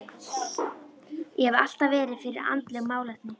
Ég hef alltaf verið fyrir andleg málefni.